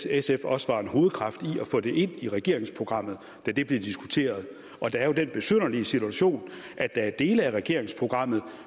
sf også var en hovedkraft til at få det ind i regeringsprogrammet da det blev diskuteret og der er jo den besynderlige situation at der er dele af regeringsprogrammet